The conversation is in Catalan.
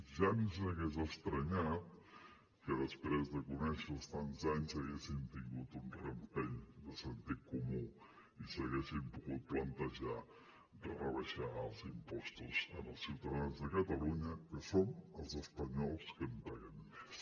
ja ens hagués estranyat que després de conèixer los tants anys haguessin tingut un rampell de sentit comú i s’haguessin pogut plantejar rebaixar els impostos als ciutadans de catalunya que som els espanyols que en paguem més